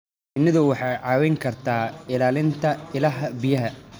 Shinnidu waxay kaa caawin kartaa ilaalinta ilaha biyaha.